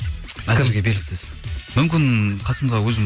әзірге белгісіз мүмкін қасымда өзім